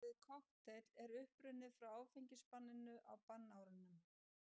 Orðið kokteill er upprunnið frá áfengisbanninu á bannárunum.